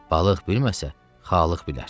Balıq bilməsə, xalıq bilər.